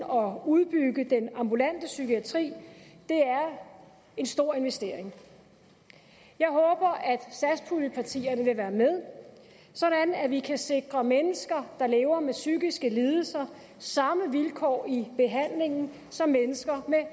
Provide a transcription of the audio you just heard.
og udbygge den ambulante psykiatri det er en stor investering jeg håber at satspuljepartierne vil være med sådan at vi kan sikre mennesker der lever med psykiske lidelser samme vilkår i behandlingen som mennesker med